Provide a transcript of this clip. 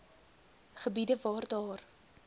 gebiede waar daar